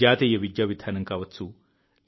జాతీయ విద్యా విధానం కావచ్చు